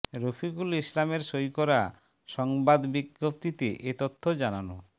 রফিকুল ইসলামের সই করা সংবাদ বিজ্ঞপ্তিতে এ তথ্য জানানো